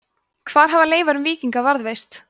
hvar hafa leifar um víkinga varðveist